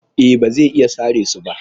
E, ba zai iya sare su ba.